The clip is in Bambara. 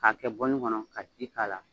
K'a kɛ bɔlini kɔnɔ ka ji k'a la